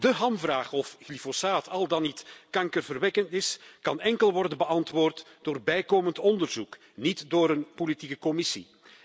De hamvraag of glyfosaat al dan niet kankerverwekkend is, kan uitsluitend worden beantwoord door bijkomend onderzoek, niet door een politieke commissie.